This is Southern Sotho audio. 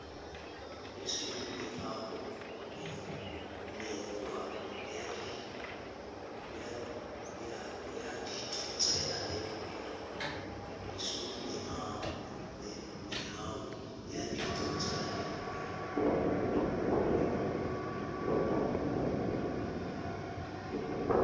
lesweu mehoo ya dithotsela lemoya